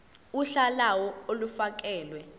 uhla lawo olufakelwe